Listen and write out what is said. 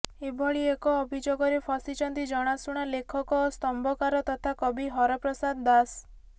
ଏଭଳି ଏକ ଅଭିଯୋଗରେ ଫସିଛନ୍ତି ଜଣାଶୁଣା ଲେଖକ ଓ ସ୍ତମ୍ଭକାର ତଥା କବି ହରପ୍ରସାଦ ଦାସ